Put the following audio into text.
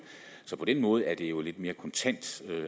så på den måde er det jo et lidt mere kontant